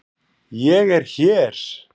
ÉG ER HÉR!